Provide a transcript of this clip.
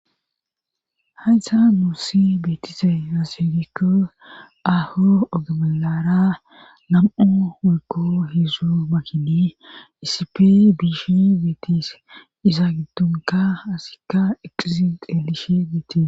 haysa nuussi beetise maaserikko ahu ogomelara nam7u wuko heezu makinii isipe biishi beetis iza giddonka asikka eqiziq elishi beetis